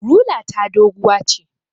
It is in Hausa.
Rula ta doguwa ce